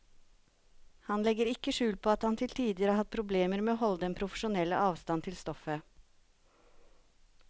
Han legger ikke skjul på at han til tider har hatt problemer med å holde den profesjonelle avstand til stoffet.